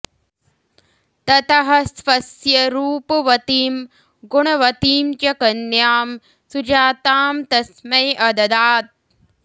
ततः स्वस्य रूपवतीं गुणवतीं च कन्यां सुजातां तस्मै अददात्